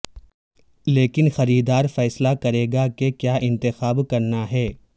لیکن خریدار فیصلہ کرے گا کہ کیا انتخاب کرنا ہے